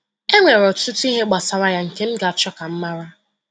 Enwere ọtụtụ ihe gbasara ya nke m ga-achọ ka m mara.”